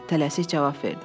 Tələsik cavab verdi.